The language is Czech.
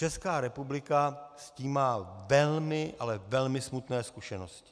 Česká republika s tím má velmi, ale velmi smutné zkušenosti.